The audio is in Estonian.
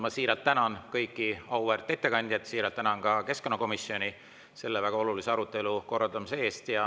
Ma siiralt tänan kõiki auväärt ettekandjaid, siiralt tänan ka keskkonnakomisjoni selle väga olulise arutelu korraldamise eest.